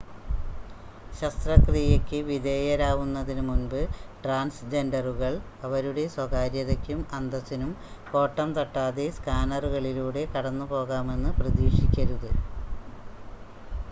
ശസ്ത്രകിയക്ക് വിധേയരാവുന്നതിന് മുൻപ് ട്രാൻസ് ജെൻഡറുകൾ അവരുടെ സ്വകാര്യതയ്ക്കും അന്തസ്സിനും കോട്ടം തട്ടാതെ സ്‌കാനറുകളിലൂടെ കടന്ന് പോകാമെന്ന് പ്രതീക്ഷിക്കരുത്